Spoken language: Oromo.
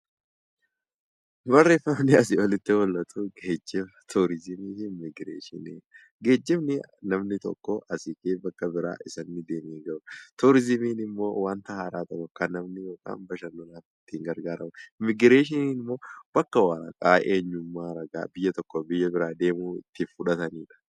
Geejjiba, turizimii fi immigireeshinii. Geejjibni kan namni tokko bakka tokkoo ka'ee bakka biraa ittiin ga'uudha. Turizimiin immoo wanta haaraa tokko kan namni daawwachuuf itti gargaaramuudha. Immigireeshiniin immoo bakka biyya tokkoo biyya biraa deemuun gara biyya biraatti fudhatamaniidha.